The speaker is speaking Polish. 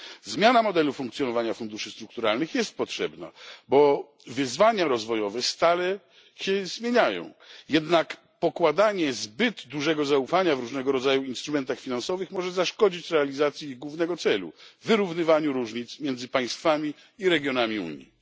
Zmiana modelu funkcjonowania funduszy strukturalnych jest potrzebna, bo wyzwania rozwojowe stale się zmieniają, jednak pokładanie zbyt dużego zaufania w różnego rodzaju instrumentach finansowych może zaszkodzić realizacji ich głównego celu wyrównywaniu różnic między państwami i regionami Unii.